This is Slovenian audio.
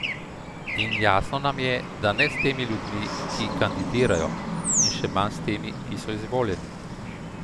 In jasno nam je, da ne s temi ljudmi, ki kandidirajo, in še manj s temi, ki so izvoljeni.